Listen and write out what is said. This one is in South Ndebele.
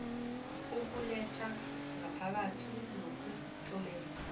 ukuletha ngaphakathi nokuthumela